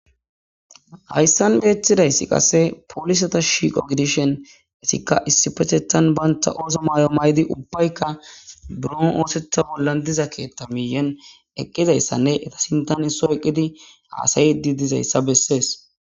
hayssan beetidayssi qasse polisata shiiqo gidishen etikka issipehethan banta ooso maayo may7di ubbaykka bron oosetha bollan diza keethta miyen eqqizayssanne eta sintan isso eqqidi aasayi di dizayssa bessees